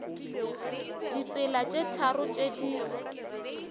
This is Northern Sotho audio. ditsela tše tharo tše di